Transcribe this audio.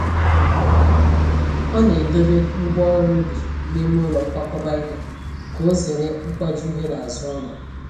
Ọ na-edobe ngwa ọrụ ubi n’ime ụlọ nkwakọba ihe ka ozere nkwaju ihe n'azụ ụlọ